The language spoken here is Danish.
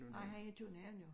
Ej han er i København jo